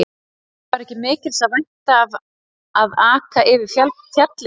Það var ekki mikils að vænta af að aka yfir fjallið.